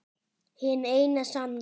Hin eina sanna